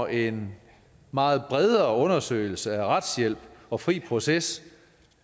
en meget bredere undersøgelse af retshjælp og fri proces